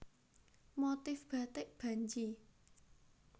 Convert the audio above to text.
Motif Batik Banji